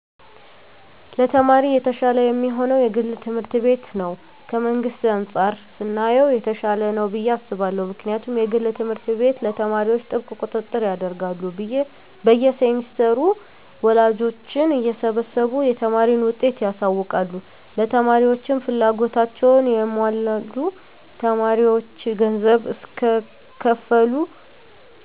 ለተማሪ የተሻለ የሚሆነዉ የግል ትምህርት ቤት ነዉ ከመንግስት አንፃር ስናየዉ የተሻለ ነዉ ብየ አስባለሁ ምክንያቱም የግል ትምህርት ቤት ለተማሪዎች ጥብቅ ቁጥጥር ያደርጋሉ በየ ሴምስተሩ ወላጆችን እየሰበሰቡ የተማሪን ዉጤት ያሳዉቃሉ ለተማሪዎችም ፍላጎታቸዉን ያሟላሉ ተማሪዎች ገንዘብ እስከከፈሉ